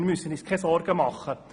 Wir müssen uns keine Sorgen machen.